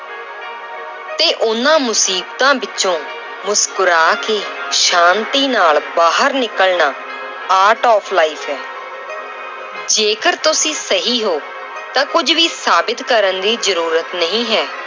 ਤੇ ਉਹਨਾਂ ਮੁਸੀਬਤਾਂ ਵਿੱਚੋਂ ਮੁਸਕੁਰਾ ਕੇ ਸ਼ਾਂਤੀ ਨਾਲ ਬਾਹਰ ਨਿਕਲਣਾ art of life ਹੈ ਜੇਕਰ ਤੁਸੀਂ ਸਹੀ ਹੋ ਤਾਂ ਕੁੱਝ ਵੀ ਸਾਬਿਤ ਕਰਨ ਦੀ ਜ਼ਰੂਰਤ ਨਹੀਂ ਹੈ,